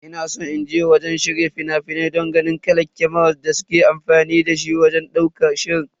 Ina san inje wurin shirya fina-finai don ganin irin kamarar da suke amfani da shi wajen ɗaukar shiri.